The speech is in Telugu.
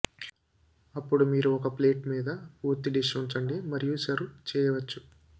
అప్పుడు మీరు ఒక ప్లేట్ మీద పూర్తి డిష్ ఉంచండి మరియు సర్వ్ చేయవచ్చు